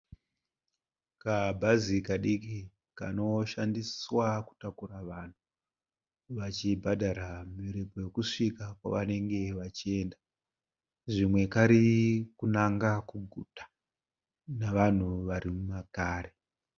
Kabhazi kadiki kanoshandiswa kutakura vanhu vachibhadhara miripo yekusvika kwavanenge vachienda. Zvimwe kari kunanga kuguta nevanhu vari makari.